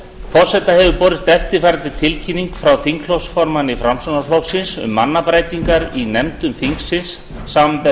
forseta hefur borist eftirfarandi tilkynning frá þingflokksformanni framsóknarflokksins um mannabreytingar í nefndum þingsins samanber